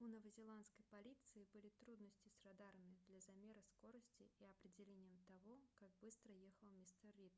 у новозеландской полиции были трудности с радарами для замера скорости и определением того как быстро ехал мистер рид